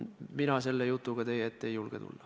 Mina sellise jutuga teie ette ei julge tulla.